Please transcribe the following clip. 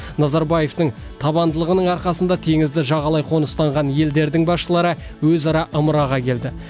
назарбаевтың табандылығының арқасында теңізді жағалай қоныстанған елдердің басшылары өзара ымыраға келді